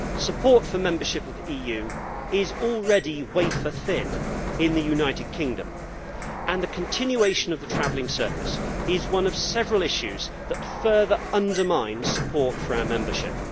Support for membership of the EU is already wafer thin in the United Kingdom and the continuation of the travelling circus is one of several issues that further undermines support for our membership.